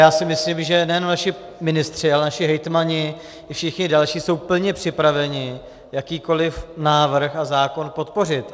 Já si myslím, že nejen vaši ministři, ale naši hejtmani i všichni další jsou plně připraveni jakýkoliv návrh a zákon podpořit.